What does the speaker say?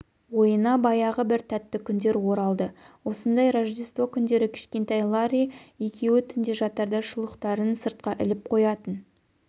ойына баяғы бір тәтті күндер оралды осындай рождество күндері кішкентай ларри екеуі түнде жатарда шұлықтарын сыртқа іліп қоятын